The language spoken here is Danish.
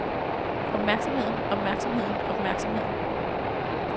opmærksomheden opmærksomheden opmærksomheden